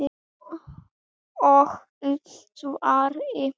og í svari